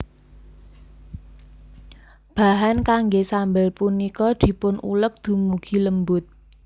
Bahan kanggé sambel punika dipunuleg dumugi lembut